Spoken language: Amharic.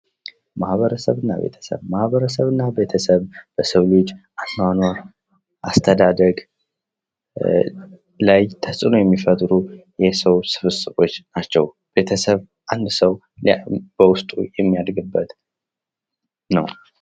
ማህበረሰብ እና ቤተሰብ ማህበረሰብ እና ቤተሰብ ለሰዉ ልጅ አኗኗር አስተዳደግ ላይ ተጽኖ የሚፈጥሩ ስብስቦች ናቸው። ቤተሰብ አንድ ሰው በውስጡ የሚያድግበት ነው ።